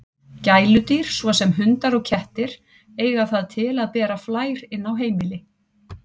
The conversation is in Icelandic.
Gæludýr, svo sem hundar og kettir, eiga það til að bera flær inn á heimili.